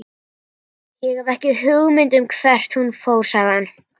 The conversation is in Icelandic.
Ég hef ekki hugmynd um hvert hún fór, sagði hann.